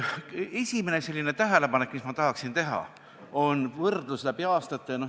Esimene tähelepanek, mis ma tahaksin teha, on võrdlus läbi aastate.